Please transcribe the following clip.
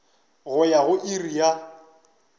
go ya go iri ya